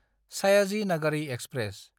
Sayaji Nagari express